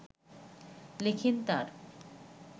লেখেন তাঁর